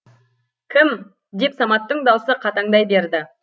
кім деп саматтың даусы қатаңдай берді